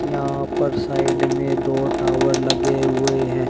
यहां पर साइड में दो टावर लगे हुए हैं।